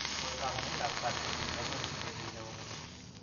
Kosom nyoet ap kaat kotinykey ak lelutyennyi ne oo